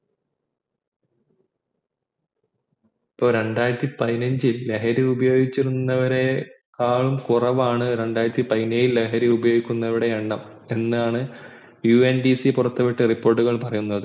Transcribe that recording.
രണ്ടായിരത്തി പതിനെഞ്ചിൽ ലഹരി ഉപയോഗിച്ചിരുന്നവരെക്കാൾ കൊറവാണ് രണ്ടായിരത്തി പതിനേഴിൽ ലഹരി ഉപയോഗിക്കുന്നവരുടെ എണ്ണം എന്നാണ UNDC പുറത്തു വിട്ട report കൾ പറയുന്നത്